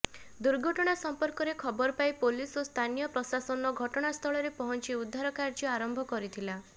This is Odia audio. ଦୁର୍ଘଟଣା ସଂପର୍କରେ ଖବର ପାଇ ପୋଲିସ ଓ ସ୍ଥାନୀୟ ପ୍ରଶାସନ ଘଟଣାସ୍ଥଳରେ ପହଞ୍ଚି ଉଦ୍ଧାର କାର୍ଯ୍ୟ ଆରମ୍ଭ କରିଥିଲା